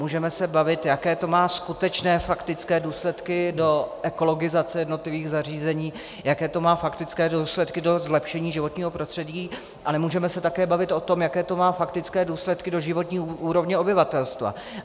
Můžeme se bavit, jaké to má skutečné faktické důsledky do ekologizace jednotlivých zařízení, jaké to má faktické důsledky do zlepšení životního prostředí, ale můžeme se také bavit o tom, jaké to má faktické důsledky do životní úrovně obyvatelstva.